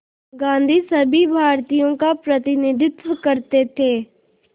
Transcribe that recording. गांधी सभी भारतीयों का प्रतिनिधित्व करते थे